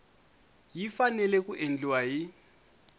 yi fanele ku endliwa hi